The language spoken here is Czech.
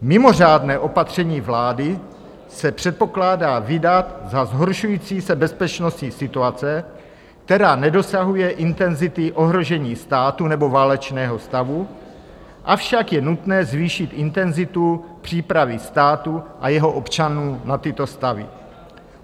"Mimořádné opatření vlády se předpokládá vydat za zhoršující se bezpečnostní situace, která nedosahuje intenzity ohrožení státu nebo válečného stavu, avšak je nutno zvýšit intenzitu přípravy státu a jeho občanů na tyto stavy."